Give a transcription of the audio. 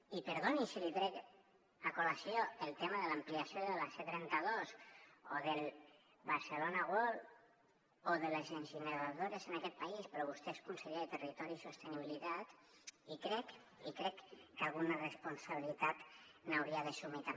i perdoni si li trec a col·lació el tema de l’ampliació de la c trenta dos o del barcelona world o de les incineradores en aquest país però vostè és conseller de territori i sostenibilitat i crec que alguna responsabilitat hi hauria d’assumir també